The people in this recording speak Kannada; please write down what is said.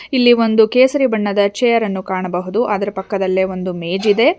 ಇಲ್ಲಿ ಒಂದು ಕೇಸರಿ ಬಣ್ಣದ ಚೇರ್ ಅನ್ನು ಕಾಣಬಹುದು ಅದರ ಪಕ್ಕದಲ್ಲೆ ಒಂದು ಮೇಜ್ ಇದೆ.